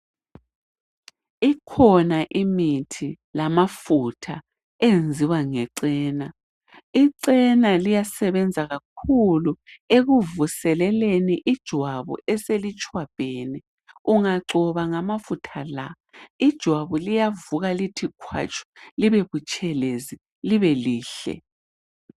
Ikhona imithi lamafutha enziwa ngecena ,icena liyasebenza kakhulu ekuvuseleleni ijwabu eselitshwabhene ungagcoba ngamafutha la ijwabu liyavuka lithi khwatshu libe butshelezi libe lihle.